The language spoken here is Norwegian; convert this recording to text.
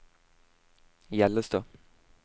Hjellestad